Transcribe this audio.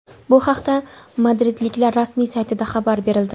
Bu haqda madridliklar rasmiy saytida xabar berildi.